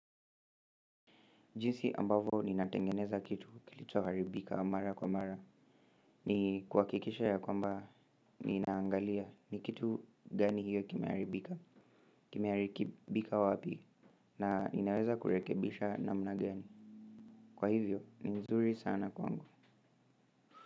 Jinsi ambavo ninatengeneza kitu kilichoharibika mara kwa mara ni kuhakikisha ya kwamba ninaangalia ni kitu gani hiyo kimeharibika kimeharikibika wapi na inaweza kurekebisha namna gani kwa hivyo ni mzuri sana kwangu.